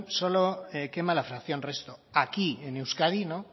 solo quema la fracción resto aquí en euskadi no